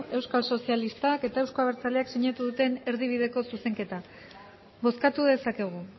euskal sozialistak eta euzko abertzaleak sinatu duten erdibideko zuzenketak bozkatu dezakegu